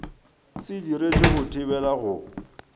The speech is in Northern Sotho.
se diretšwe go thibela go